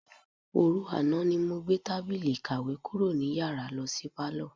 Òru àná ni mo gbé tábìlì ìkàwé kúrò ní yàrá lo̩ sí pálò̩.